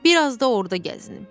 Bir az da orda gəzinim.